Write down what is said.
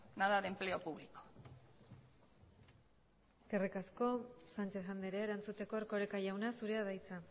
nada de empleo público eskerrik asko sánchez andrea erantzuteko erkoreka jauna zurea da hitza